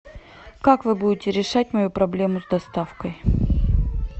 как вы будете решать мою проблему с доставкой